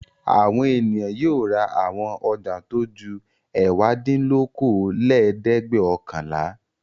Àwọn ènìyàn yóò ra àwọn ọjà tó ju ẹ̀wádínlókòólẹ́ẹ̀dẹ́gbẹ́ọ̀kànlá.